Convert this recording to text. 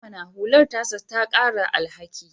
I mana! hular ta sa ka ƙara alhaki